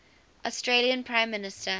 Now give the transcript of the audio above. australian prime minister